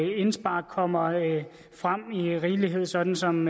og indspark kommer frem i rigelig mængde sådan som